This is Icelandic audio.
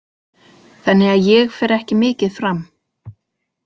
Þannig að ég fer ekki mikið fram.